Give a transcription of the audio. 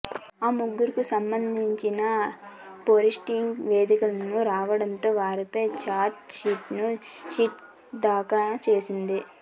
ఆ ముగ్గురికి సంబంధించిన ఫోరెన్సిక్ నివేదిక రావడంతో వారిపై ఛార్జ్ సీటును సిట్ దాఖలు చేసింది